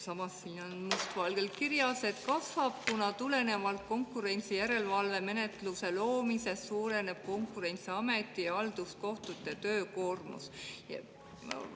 Samas, siin on must valgel kirjas, et kasvab, kuna tulenevalt konkurentsijärelevalve menetluse loomisest suureneb Konkurentsiameti ja halduskohtute töökoormus.